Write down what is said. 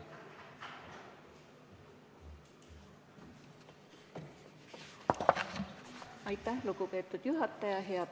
Aitäh, lugupeetud juhataja!